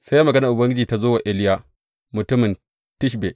Sai maganar Ubangiji ta zo wa Iliya mutumin Tishbe.